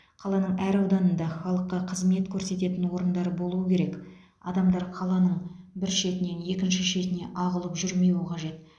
қаланың әр ауданында халыққа қызмет көрсететін орындар болуы керек адамдар қаланың бір шетінен екінші шетіне ағылып жүрмеуі қажет